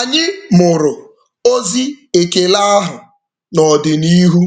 Anyị mụrụ ozi ekele ahụ n'ọdịnihu